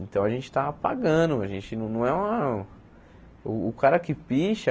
Então a gente está pagando, a gente não não é uma... O cara que picha...